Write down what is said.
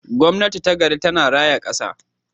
Gwamnati ta gari tana raya kasa.